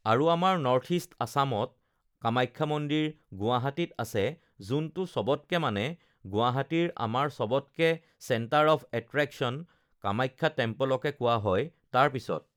আৰু আমাৰ north east আসামত কামাখ্যা মন্দিৰ, গুৱাহাটীত আছে যোনটো চবতকে মানে গুৱাহাটীৰ আমাৰ চবতকে চেন্টাৰ অফ এট্ৰেকচন কামাখ্যা টেম্প'লকে কোৱা হয় তাৰপিছত